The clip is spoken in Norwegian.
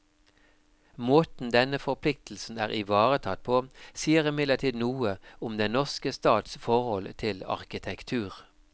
Måten denne forpliktelsen er ivaretatt på, sier imidlertid noe om den norske stats forhold til arkitektur.